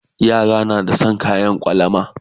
Yara na da San kayan kwalama